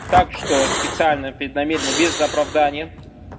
так что специально преднамеренно без оправдания